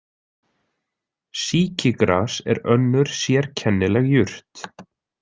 Sýkigras er önnur sérkennileg jurt.